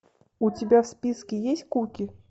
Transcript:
у тебя в списке есть куки